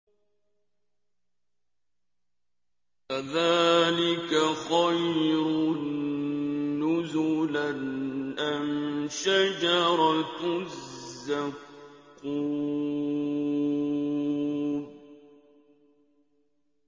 أَذَٰلِكَ خَيْرٌ نُّزُلًا أَمْ شَجَرَةُ الزَّقُّومِ